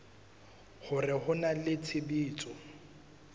hore ho na le tshebetso